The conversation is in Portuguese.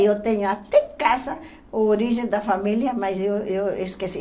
Eu tenho até em casa o origem da família, mas eu eu eu esqueci.